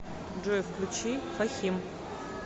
джой включи фахим